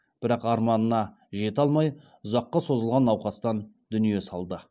бірақ арманына жете алмай ұзаққа созылған науқастан дүние салды